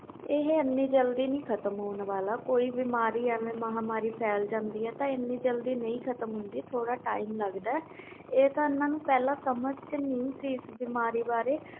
ਇਹ ਏਨੀ ਜਲਦੀ ਨਹੀਂ ਖਤਮ ਹੋਣ ਵਾਲਾ ਕੋਈ ਬੀਮਾਰੀ ਜਾ ਮਹਾਮਾਰੀ ਫੈਲ ਜਾਂਦੀ ਆ ਏਨੀ ਜਲਦੀ ਨਹੀਂ ਖਤਮ ਹੁੰਦੀ ਥੋੜ੍ਹਾ time ਲਗਦਾ ਇਹ ਤਾ ਇਹਨਾਂ ਨੂੰ ਸਮਝ ਨਹੀਂ ਸੀ ਇਸ ਬਾਰੇ